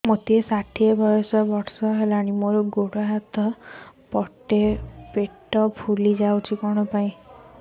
ମୋତେ ଷାଠିଏ ବର୍ଷ ବୟସ ମୋର ଗୋଡୋ ହାତ ପେଟ ଫୁଲି ଯାଉଛି